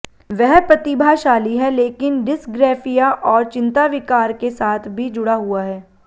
वह प्रतिभाशाली है लेकिन डिस्ग्रैफिया और चिंता विकार के साथ भी जुड़ा हुआ है